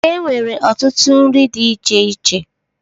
E nwere ọtụtụ nri dị iche iche.